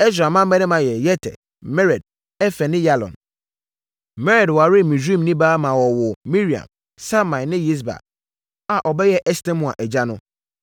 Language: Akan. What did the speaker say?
Ɛsra mmammarima yɛ Yeter, Mered, Efer ne Yalon. Mered waree Misraimni baa ma ɔwoo Miriam, Samai ne Yisba a ɔbɛyɛɛ Estemoa agya no.